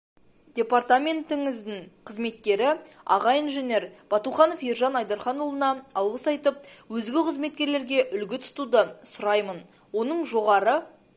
департаментіңіздің қызметкері аға инженер батуханов ержан айдарханұлына алғыс айтып өзге қызметкерлерге үлгі тұтуды сұраймын оның жоғары